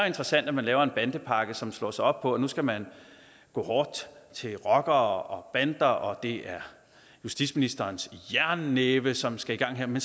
interessant at man laver en bandepakke som slår sig op på at nu skal man gå hårdt til rockere bander og at det er justitsministerens jernnæve som skal i gang her men